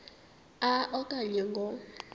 a okanye ngo